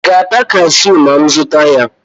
ị ga-ata cashew ma m zụta ya?